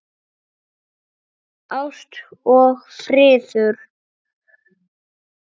Ást og friður.